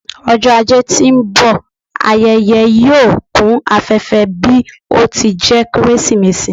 Ọjọ ajé ti n bọ, ayẹyẹ yoo kun afẹfẹ bi o ti jẹ Keresimesi